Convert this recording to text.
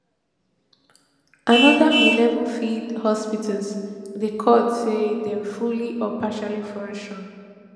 anoda eleven field hospitals dey called say dey fully or partially function